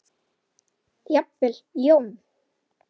Jafnvel Jón